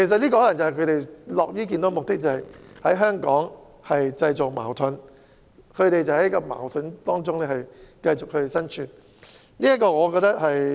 這可能是他們樂於見到的結果，便是在香港製造矛盾，而他們就在矛盾中生存。